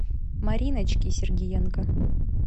мариночки сергиенко